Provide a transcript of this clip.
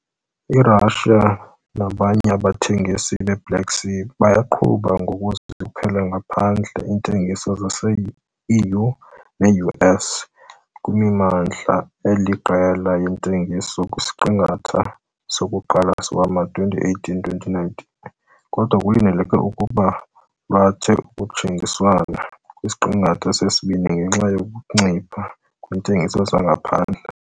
I-Russia nabanye abathengisi beBlack Sea bayaqhuba ngokuzikhuphela ngaphandle iintengiso zase-EU neU.S. kwimimandla eliqela yentengiso kwisiqingatha sokuqala sowama-2018 - 2019 kodwa kulindeleke ukuba lwethe ukhutshiswano kwisiqingatha sesibini ngenxa yokuncipha kweentengiso zangaphandle.